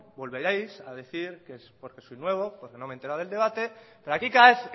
volveréis a decir que es porque soy nuevo porque no me he enterado del debate pero aquí cada